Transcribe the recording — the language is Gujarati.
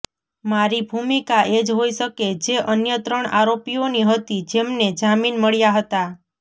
મારી ભૂમિકા એજ હોઈ શકે જે અન્ય ત્રણ આરોપીઓની હતી જેમને જામીન મળ્યા હતા